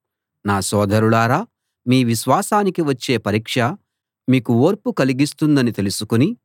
నా సోదరులారా మీ విశ్వాసానికి వచ్చే పరీక్ష మీకు ఓర్పు కలిగిస్తుందని తెలుసుకుని